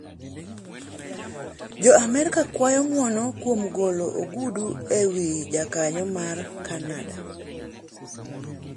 Jo Amerka kwayo ng'wono kuom golo ogudu e wi jakanyo mar Kanada